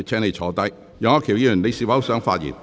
楊岳橋議員，你是否想發言？